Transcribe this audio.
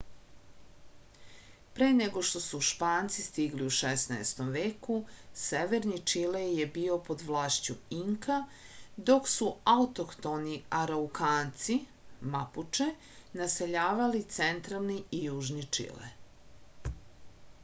пре него што су шпанци стигли у 16. веку северни чиле је био под влашћу инка док су аутохтони арауканци мапуче насељавали централни и јужни чиле